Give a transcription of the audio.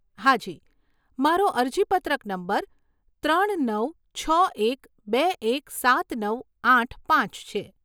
હા જી, મારો અરજીપત્રક નંબર ત્રણ નવ છ એક બે એક સાત નવ આઠ પાંચ છે.